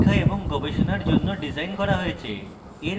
শিক্ষা এবং গবেষণার জন্য ডিজাইন করা হয়েছে